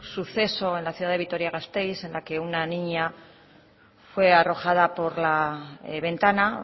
suceso en la ciudad de vitoria gasteiz en la que una niña fue arrojada por la ventana